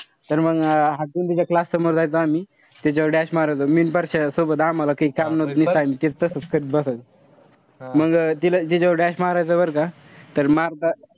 तर मंग हटकून तिच्या class समोर जायचो आम्ही. त्याच्यावर dash मारायचो. मी अन परश्या आम्हाला काई काम नव्हतं. ते तसेच करीत बसायचो. मंग तिला तिच्यावर dash मारायचो बरं का. तर मंग